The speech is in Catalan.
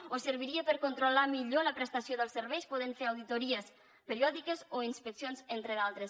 o serviria per controlar millor la prestació dels serveis i poder fer auditories periòdiques o inspeccions entre d’altres